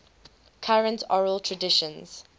current oral traditions